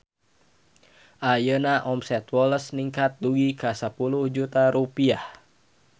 Ayeuna omset Woles ningkat dugi ka 10 juta rupiah